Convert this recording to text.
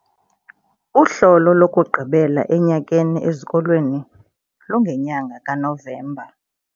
Uhlolo lokugqibela enyakeni ezikolweni lungenyanga kaNovemba.